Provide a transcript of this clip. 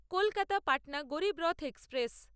Kolkata Patna Garib Rath express